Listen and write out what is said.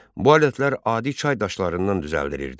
Bu alətlər adi çay daşlarından düzəldilirdi.